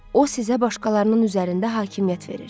O sizə başqalarının üzərində hakimiyyət verir.